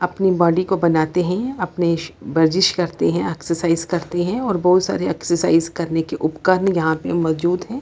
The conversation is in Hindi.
अपनी बॉडी को बनाते हैं ये अपने श वर्जिस करते हैं एक्सरसाइज करते हैं और बहुत सारे एक्सरसाइज करने के उपकरण यहाँ पे मोजूद हैं।